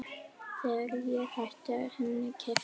Þegar ég hætti henni keypti